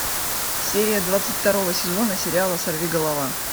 серия двадцать второго сезона сериала сорвиголова